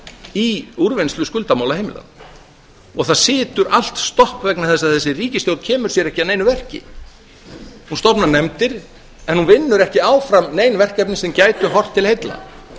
í úrvinnslu skuldamála heimilanna og það situr allt toppa vegna þess að þessi ríkisstjórn kemur sér ekki að neinu verki hún stofnar nefndir en hún vinnur ekki áfram nein verkefni sem gætu horft til heilla